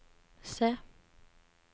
C